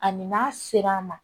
Ani n'a sera an ma